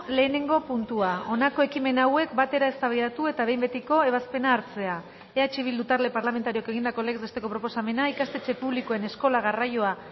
lehenengo puntua honako ekimen hauek batera eztabaidatu eta behin betiko ebazpena hartzea eh bildu talde parlamentarioak egindako legez besteko proposamena ikastetxe publikoen eskola garraioa